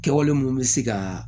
Kɛwale mun bɛ se ka